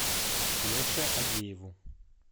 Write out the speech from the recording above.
леше агееву